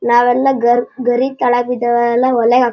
ನಾವೆಲ್ಲ ಗರ್ ಗರಿ ತಳಗ್ ಬಿದ್ದಾವ. ಯಲ್ಲಾ ಹೊಲೆ --